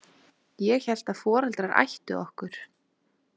Ég hélt að foreldrar ættu okkur.